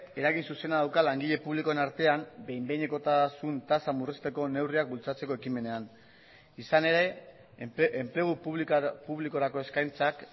eragin zuzena dauka langile publikoen artean behin behinekotasun tasa murrizteko neurriak bultzatzeko ekimenean izan ere enplegu publikorako eskaintzak